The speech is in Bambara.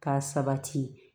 K'a sabati